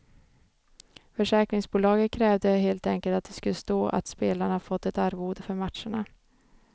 Försäkringsbolaget krävde helt enkelt att det skulle stå att spelarna fått ett arvode för matcherna.